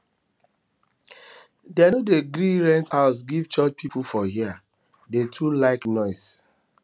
dem no dey gree rent house give church pipu for here dem too like noise